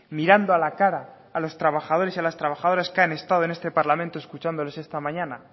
mirando a la cara a los trabajadores y a las trabajadoras que han estado en este parlamento escuchándoles esta mañana